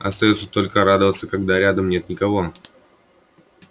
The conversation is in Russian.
остаётся только радоваться когда рядом нет никого